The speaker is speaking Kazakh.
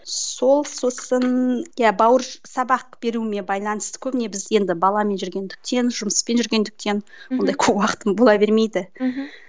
сол сосын иә сабақ беруіме байланысты көбіне біз енді баламен жүргендіктен жұмыспен жүргендіктен ондай көп уақытым бола бермейді мхм